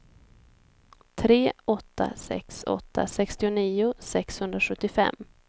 tre åtta sex åtta sextionio sexhundrasjuttiofem